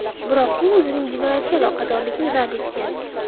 Biroq u o‘zining jinoyatga aloqadorligini rad etgan.